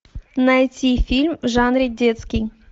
найти фильм в жанре детский